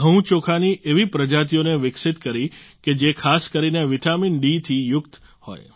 ઘઉં ચોખાની એવી પ્રજાતિઓને વિકસિત કરી કે જે ખાસ કરીને વિટામિનડી થી યુક્ત હોય